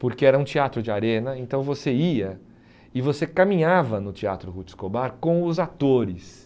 porque era um teatro de arena, então você ia e você caminhava no Teatro Ruth Escobar com os atores.